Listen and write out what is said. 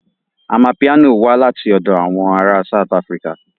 Amapiano wá láti ọ̀dọ̀ àwọn ará South Africa